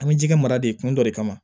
An bɛ ji kɛ mara de kun dɔ de kama